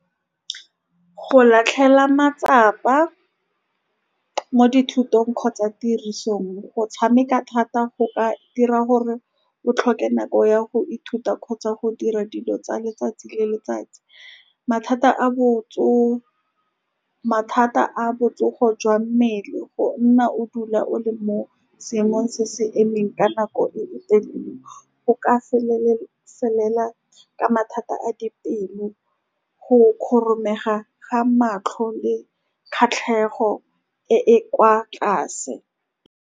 Go latlhela matsapa mo dithutong kgotsa tirisong, go tshameka thata, go ka dira gore o tlhoke nako ya go ithuta kgotsa go dira dilo tsa letsatsi le letsatsi. Mathata a , mathata a botsogo jwa mmele, go nna o dula o le mo seemong se se emeng ka nako e e telele, o ka felela ka mathata a dipelo, go ga matlho, le kgatlhego e e kwa tlase.